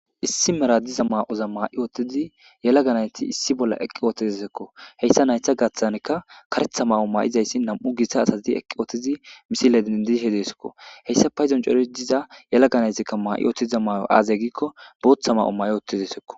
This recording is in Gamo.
Issi mera gidiza maa7otha maa7i woththidi yelaga na7ithi issi bolla eqqi woththizeziko; heysa na7itha gaththanikka kareththa mayo may7izayssa nam7u githa asathi eqquuthizi misile denddishe deskoo; heyssa paydon coreththida yelaga na7ithikka may7iuththiza may7o aazee giikko booththa mayo maayi uththizessikko.